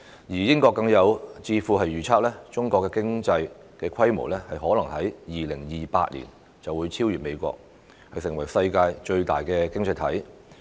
英國更有智庫預測，中國的經濟規模可能在2028年便會超越美國，成為世界最大的經濟體。